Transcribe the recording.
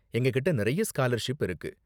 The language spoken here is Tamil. எங்ககிட்ட நிறைய ஸ்காலர்ஷிப் இருக்கு.